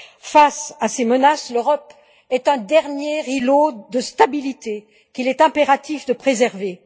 Face à ces menaces, l'Europe est un dernier îlot de stabilité qu'il est impératif de préserver.